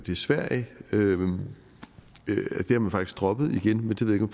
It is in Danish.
i sverige har man faktisk droppet det igen det ved